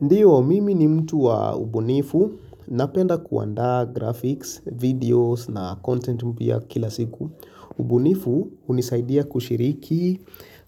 Ndiyo, mimi ni mtu wa ubunifu. Napenda kuandaa graphics, videos na content mpya kila siku. Ubunifu hunisaidia kushiriki